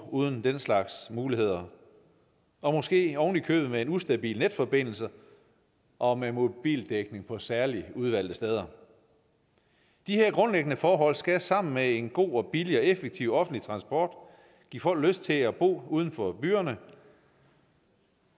uden den slags muligheder og måske oven i købet med en ustabil netforbindelse og med mobildækning på særligt udvalgte steder de her grundlæggende forhold skal sammen med en god billig og effektiv offentlig transport give folk lyst til at bo uden for byerne